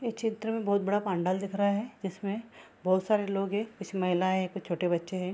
ये चित्र में बहुत बड़ा पंडाल दिख रहा हैं जिसमे बहुत सारे लोग हैं कुछ महिलाएं हैं कुछ छोटे बच्चे हैं।